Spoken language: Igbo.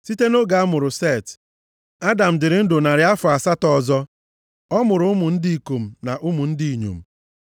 Site nʼoge a mụrụ Set, Adam dịrị ndụ narị afọ asatọ ọzọ, ọ mụrụ ụmụ ndị ikom na ụmụ ndị inyom.